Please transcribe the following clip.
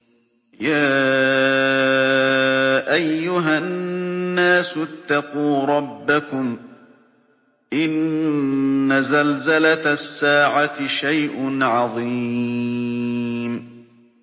يَا أَيُّهَا النَّاسُ اتَّقُوا رَبَّكُمْ ۚ إِنَّ زَلْزَلَةَ السَّاعَةِ شَيْءٌ عَظِيمٌ